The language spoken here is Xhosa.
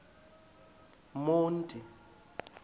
monti